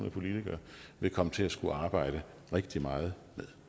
af politikere vil komme til at skulle arbejde rigtig meget